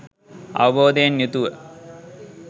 අවබෝධයෙන් යුතුව